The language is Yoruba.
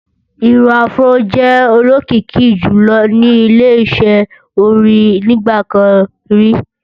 Irun afró jẹ́ olókìkí jùlọ ní ile-iṣẹ́ orin nígbà kan rí